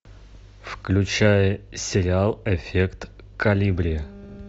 включай сериал эффект колибри